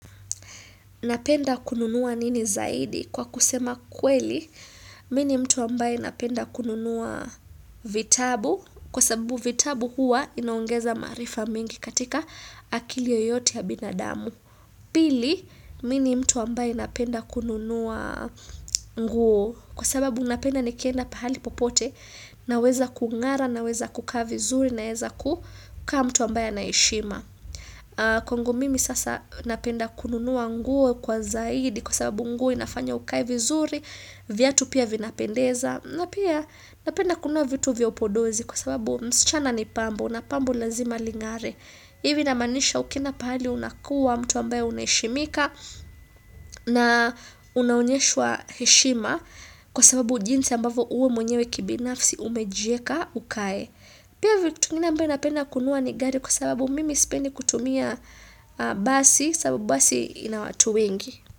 Napenda kununua nini zaidi? Kwa kusema kweli, mimi ni mtu ambaye napenda kununua vitabu, kwa sababu vitabu huwa inaongeza maarifa mengi katika akili yoyote ya binadamu. Pili, mimi ni mtu ambaye napenda kununua nguo, kwa sababu napenda nikienda pahali popote, naweza kung'ara, naweza kukaa vizuri, naweza kukaa mtu ambaye anaheshima. Kwangu mimi sasa napenda kununua nguo kwa zaidi kwa sababu nguo inafanya ukae vizuri, viatu pia vinapendeza na pia napenda kununua vitu vya upodozi kwa sababu msichana ni pambo na pambo lazima ling'are. Hivi namaanisha ukienda pahali unakua mtu ambaye unaheshimika na unaonyeshwa heshima kwa sababu jinsi ambavyo wewe mwenyewe kibinafsi umejieka ukae. Pia vitu vingine ambavyo napenda kununua ni gari kwa sababu mimi sipendi kutumia basi sababu basi ina watu wengi.